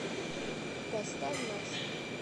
поставь нас